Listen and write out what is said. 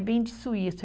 Bem de Suíço.